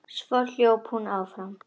Svo hljóp hún áfram.